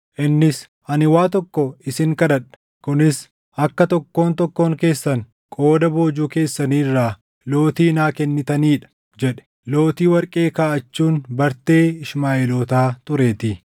Innis, “Ani waa tokko isin kadhadha; kunis akka tokkoon tokkoon keessan qooda boojuu keessanii irraa lootii naa kennitanii dha” jedhe. Lootii warqee kaaʼachuun bartee Ishmaaʼeelootaa tureetii.